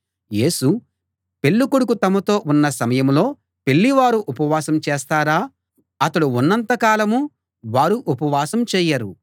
యేసు పెళ్ళికొడుకు తమతో ఉన్న సమయంలో పెళ్లి వారు ఉపవాసం చేస్తారా అతడు ఉన్నంత కాలం వారు ఉపవాసం చేయరు